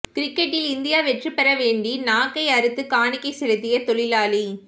கிரிக்கெட்டில் இந்தியா வெற்றி பெற வேண்டி நாக்கை அறுத்து காணிகை செலுத்திய தொழிலாளி